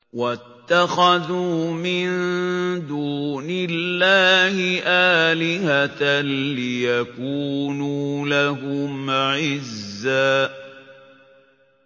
وَاتَّخَذُوا مِن دُونِ اللَّهِ آلِهَةً لِّيَكُونُوا لَهُمْ عِزًّا